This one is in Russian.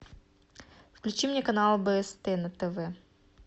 включи мне канал бст на тв